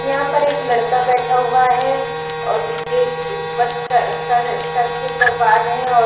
यहाँ पर एक लड़का बैठा हुआ है और जिसके सिर उपर सर-सर सर के उपर बाल है और --